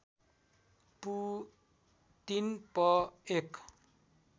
पू ३ प १